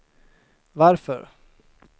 varför